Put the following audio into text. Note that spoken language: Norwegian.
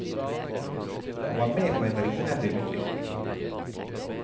Han var med på en rivende utvikling.